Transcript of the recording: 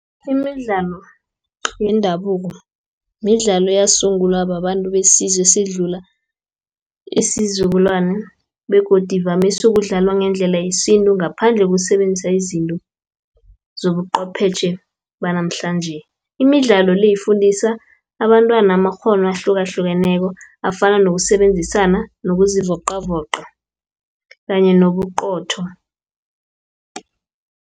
Imidlalo yendabuko, midlalo eyasungulwa babantu besizwe esidlula isizukulwana, begodu ivamise ukudlalwa ngendlela yesintu, ngaphandle kokusebenzisa izinto zobuqwephetjhe banamhlanje. Imidlalo le, ifundisa abantwana amakghono ahlukahlukeneko, afana nokusebenzisana, nokuzivocavoca kanye nobuqotho.